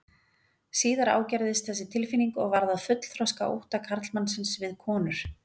Síðar ágerðist þessi tilfinning og varð að fullþroska ótta karlmannsins við konur.